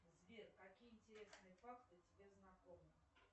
сбер какие интересные факты тебе знакомы